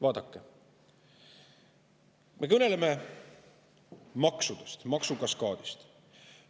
Vaadake, me kõneleme maksudest, maksukaskaadist.